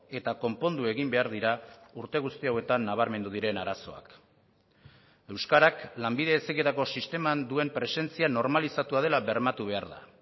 eta konpondu egin behar dira urte guzti hauetan nabarmendu diren arazoak euskarak lanbide heziketako sisteman duen presentzia normalizatua dela bermatu behar da